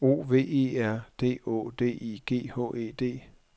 O V E R D Å D I G H E D